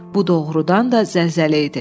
Bu doğurdan da zəlzələ idi.